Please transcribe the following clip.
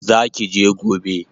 Zaki je gobe?